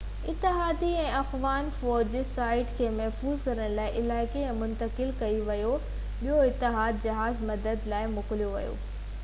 اتحادي ۽ افغان فوج سائيٽ کي محفوظ ڪرڻ لاءِ علائقي ۾ منتقل ڪئي وئي ۽ ٻيو اتحادي جهاز مدد لاءِ موڪليو ويو